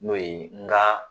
N'o ye nka